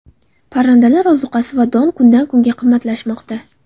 Parrandalar ozuqasi va don kundan kunga qimmatlashmoqda .